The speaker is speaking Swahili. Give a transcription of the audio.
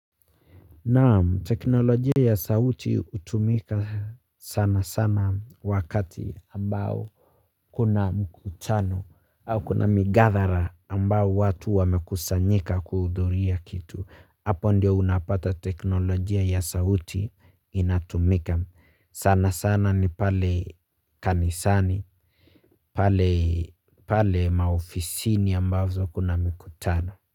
Nam teknolojia ya sauti hutumika sana sana wakati ambao kuna mkutano au kuna migathara ambao watu wamekusanyika kuhudhuria kitu. Hapo ndio unapata teknolojia ya sauti inatumika. Sana sana ni pale kanisani, pale maofisini ambazo kuna mkutano.